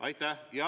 Aitäh!